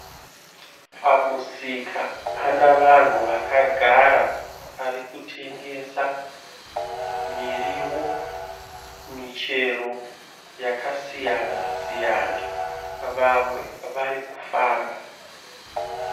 Pamusika panavanhu vakagara varikutengesa miriwo ,michero yakasiyana siyana .Vamwe vari kufamba.